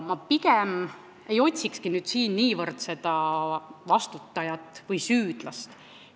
Ma pigem ei otsikski niivõrd vastutajat või süüdlast.